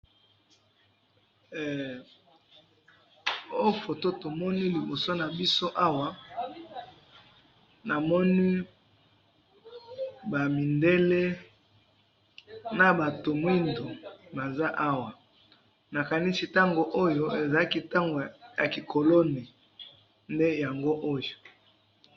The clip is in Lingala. Na photo oyo na moni mindele na batu mwindo, na kanisi tango ya ki colonie nde yango oyo.